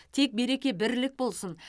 тек береке бірлік болсын